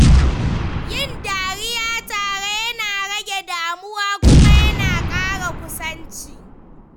Yin dariya tare yana rage damuwa kuma yana ƙara kusanci.